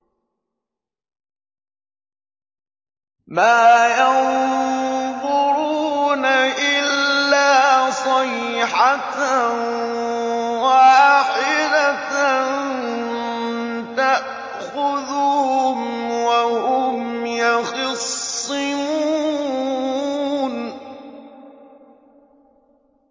مَا يَنظُرُونَ إِلَّا صَيْحَةً وَاحِدَةً تَأْخُذُهُمْ وَهُمْ يَخِصِّمُونَ